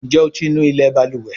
Njé o tí ńú ilé balùwẹ̀?